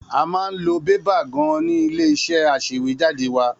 A máa ń lo bébà gan-an ní ilé-iṣẹ́ aṣèwéjádé wá.